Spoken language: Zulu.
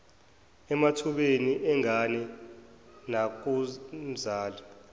emathubeni engane nakumzali